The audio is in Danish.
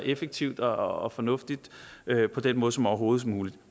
effektivt og fornuftigt på den måde som overhovedet muligt